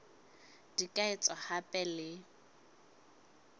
di ka etswa hape le